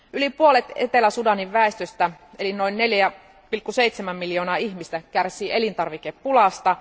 Yli puolet Etelä Sudanin väestöstä eli noin 4,7 miljoonaa ihmistä kärsii elintarvikepulasta.